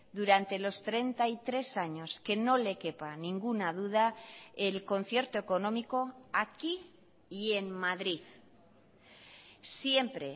durante los treinta y tres años que no le quepa ninguna duda el concierto económico aquí y en madrid siempre